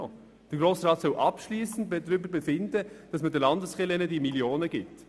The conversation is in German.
Der Grosse Rat soll abschliessend darüber befinden, dass man den Landeskirchen diese Millionen gibt.